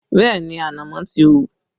Bẹẹ ni, ànámọ́ ti hù